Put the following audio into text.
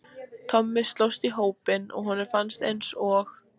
Tommi slóst í hópinn og honum fannst eins og